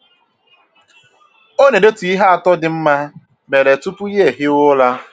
Ọ na edetu ihe atọ dị mma mere tupu ya ehiwe ụra